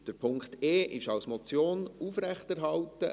Der Punkt e ist als Motion aufrechterhalten.